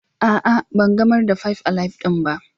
A'a ban gamar da "five alive " din ba.